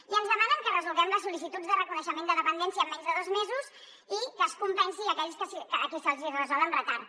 i ens demanen que resolguem les sol·licituds de reconeixement de dependència en menys de dos mesos i que es compensin aquells a qui se’ls hi resol amb retard